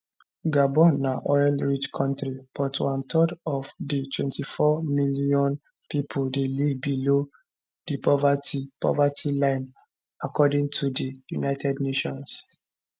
gabon na oilrich kontri but one third of di 24 million pipo dey live below di poverty poverty line according to di united nations